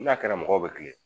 N'a kɛra mɔgɔw bɛ kilen